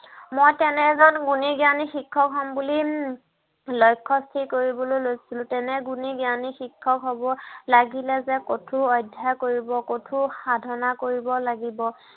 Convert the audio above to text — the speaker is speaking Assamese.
মই তেনে এজন গুণী জ্ঞানী শিক্ষক হম বুলি উম লক্ষ্য় স্থিৰ কৰিবলৈ লৈছিলো। তেনে গুণী জ্ঞানী শিক্ষক হ'ব লাগিলে যে কঠোৰ অধ্য়ায় কৰিব লাগিব, কঠাৰ সাধনা কৰিব লাগিব।